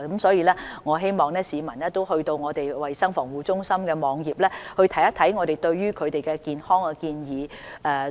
所以，我希望市民能瀏覽衞生防護中心的網頁，看看我們提出的一些健康建議。